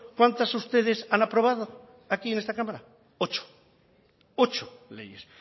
cuántas ustedes han aprobada aquí en esta cámara ocho leyes